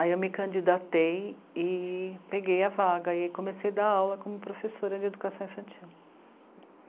Aí eu me candidatei e peguei a vaga e comecei a dar aula como professora de educação infantil.